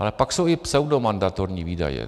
Ale pak jsou i pseudomandatorní výdaje.